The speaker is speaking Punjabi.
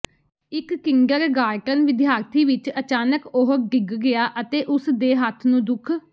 ਇਕ ਕਿੰਡਰਗਾਰਟਨ ਵਿਦਿਆਰਥੀ ਵਿਚ ਅਚਾਨਕ ਉਹ ਡਿੱਗ ਗਿਆ ਅਤੇ ਉਸ ਦੇ ਹੱਥ ਨੂੰ ਦੁੱਖ